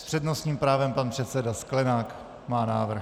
S přednostním právem pan předseda Sklenák má návrh.